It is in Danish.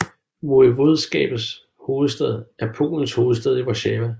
Voivodskabets hovedstad er Polens hovedstad Warszawa